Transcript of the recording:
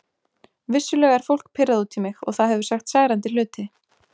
Vissulega er fólk pirrað út í mig og það hefur sagt særandi hluti.